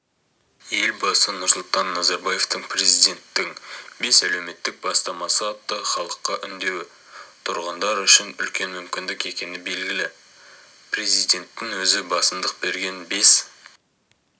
елбасы нұрсұлтан назарбаевтың президенттің бес әлеуметтік бастамасы атты халыққа үндеуі тұрғындар үшін үлкен мүмкіндік екені белгілі президенттің өзі басымдық берген бес